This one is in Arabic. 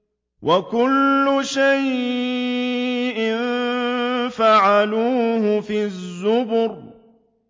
وَكُلُّ شَيْءٍ فَعَلُوهُ فِي الزُّبُرِ